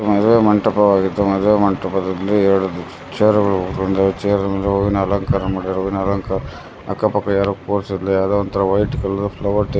ಮದುವೇ ಮಂಟಪವಾಗಿದ್ದು ಮದುವೆ ಮಂಟಪದಲ್ಲಿ ಎರಡು ಚೇರುಗಳು ಅಂಗೇ ಚೇರುನಲ್ಲಿ ಹೂವಿನ ಅಲಂಕಾರ ಮಾಡಿರುವು ಹೂವಿನ ಅಲಂಕಾರ ಅಕ್ಕಪಕ್ಕ ಯಾರೂ ಪೋಷಿಲ್ಲ ಯಾರೋ ಒಂತರ ವೈಟ್ ಕಲರ್ ಫ್ಲ್ಯಾವಾರ್ --